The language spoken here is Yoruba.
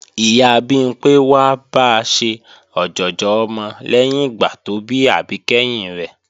Ìyá Bimpé wá ba ṣe ọ̀jọ̀jọ̀ ọmọ lẹ́yìn ìgbà tó bí àbí kẹ́hìn rẹ̀